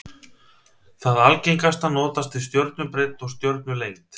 Það algengasta notast við stjörnubreidd og stjörnulengd.